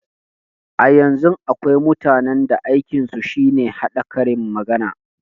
A yanzun akwai mutanen da aikin su shine haɗa karin magana